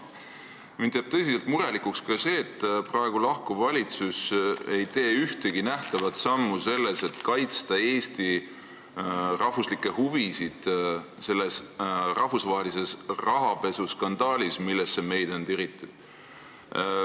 Ma ei saa teiega kuidagi nõus olla ja mind teeb tõsiselt murelikuks ka see, et peagi lahkuv valitsus ei ole teinud ühtegi nähtavat sammu selleks, et kaitsta Eesti riigi huvisid selles rahvusvahelises rahapesuskandaalis, millesse meid on tiritud.